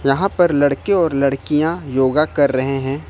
यहां पर लड़के और लड़कियां योगा कर रहे हैं।